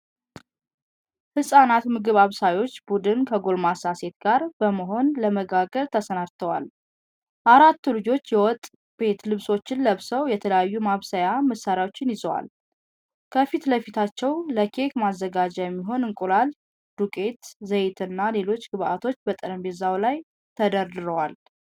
ህጻናት ምግብ አብሳዮች ቡድን ከጎልማሳ ሴት ጋር በመሆን ለመጋገር ተሰናድተዋል። አራቱ ልጆች የወጥ ቤት ልብሶችን ለብሰው የተለያዩ የማብሰያ መሳሪያዎችን ይዘዋል። ከፊት ለፊታቸው ለኬክ ማዘጋጃ የሚሆኑ እንቁላል፣ ዱቄት፣ ዘይትና ሌሎች ግብአቶች በጠረጴዛው ላይ ተደርድረዋል።